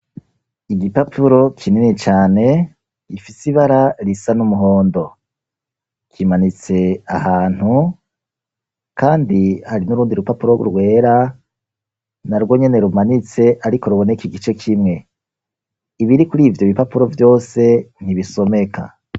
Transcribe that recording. Igipapuro kinini cane gifise ibara risa n'umuhondo. Kimanitse ahantu kandi hari n'urundi rupapuro rwera na rwo nyene rumanitse ariko ruboneka igice kimwe. Ibiri kuri ivyo bipapuro vyose ntibisomeka.